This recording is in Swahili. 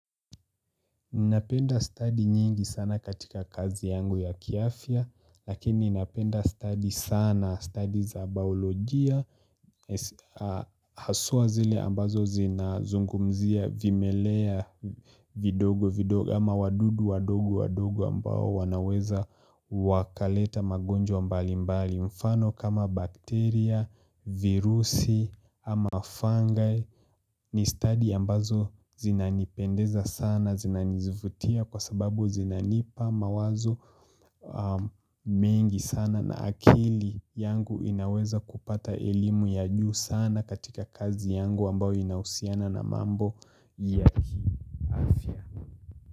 Ninapenda study nyingi sana katika kazi yangu ya kiafya lakini ninapenda study sana study za baolojia Haswa zile ambazo zina zungumzia vimelea vidogo vidogo ama wadudu wadogo wadogo ambao wanaweza wakaleta magonjwa mbali mbali, mfano kama bakteria, virusi ama fungi ni study ambazo zinanipendeza sana, zinanivutia kwa sababu zinanipa mawazo mengi sana na akili yangu inaweza kupata elimu ya juu sana katika kazi yangu ambao inahusiana na mambo ya afya.